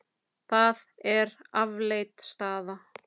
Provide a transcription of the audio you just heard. Það er afleit staða.